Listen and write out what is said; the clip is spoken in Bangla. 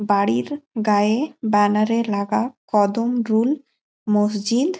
বাড়ির গায়ে ব্যানার -এ লাগা কদমরুল মসজিদ--